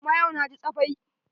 Amma yau na ji tsafai.